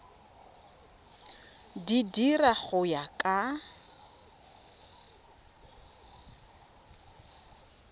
di dira go ya ka